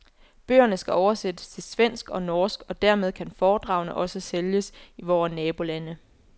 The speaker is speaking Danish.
Bøgerne skal oversættes til svensk og norsk og dermed kan foredragene også sælges i vore nabolande.